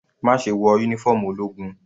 Má ṣe wọ uniform ológun.